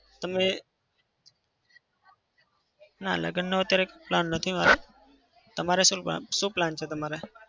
તમે ના લગ્નનો અત્યારે plan નથી મારે. તમારે શું plan શું plan છે તમારે?